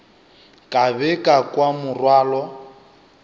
ka be ka kwa morwalo